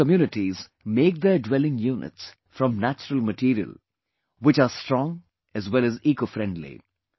Tribal communities make their dwelling units from natural material which are strong as well as ecofriendly